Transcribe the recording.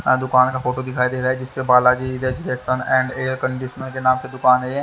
ऑ दुकान का फोटो दिखाई दे रहा है जिसपे बाला जी रेजिडेंसशन एंड एयरकंडीशनर के नाम से दुकान है ये।